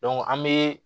an bɛ